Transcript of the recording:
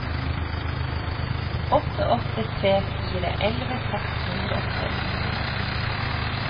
åtte åtte tre fire elleve seks hundre og tolv